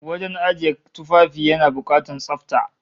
Wajen ajiye tufafi yana bukatar tsafta